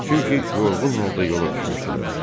Çünki yorğun halda yola düşmüşdülər.